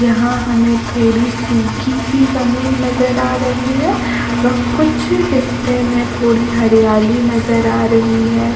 यहाँ हमें थोड़ी सुखी -सी ज़मीन नजर आ रही है व कुछ हिस्से में थोड़ी हरियाली नजर आ रही हैं ।